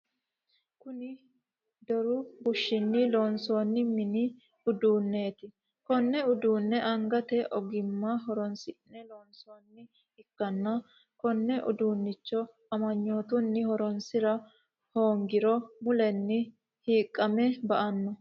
Kunni doru bushinni loonsoonni minni uduuneeti Kone uduune angate ogimma horoonsi'ne loonsoonni ikanna konne uduunnicho amanyootunni horoonsira hoongiro mulenni hiiqame ba'ano.